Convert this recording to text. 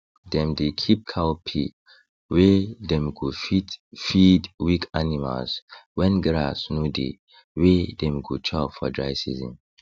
dem dey keep cowpea wey dem go fit feed weak animals when grass no dey wey dem go chop for dry season